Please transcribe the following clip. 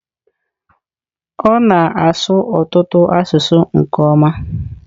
Ọ na-asụ ọtụtụ asụsụ nke ọma.